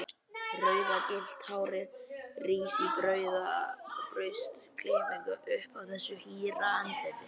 Rauðgyllta hárið rís í burstaklippingu upp af þessu hýra andliti.